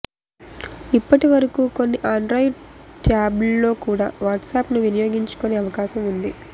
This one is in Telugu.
ఇప్పటివరకు కొన్ని ఆండ్రాయిడ్ ట్యాబ్స్లో కూడా వాట్సాప్ను వినియోగించుకునే అవకాశం ఉంది